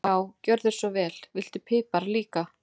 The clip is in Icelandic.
Já, gjörðu svo vel. Viltu pipar líka?